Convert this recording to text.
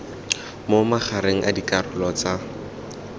mo magareng a dikarolo tsa